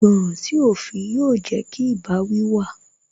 Ìgbọràn sí òfin yóò jẹ́ kí ìbáwí wà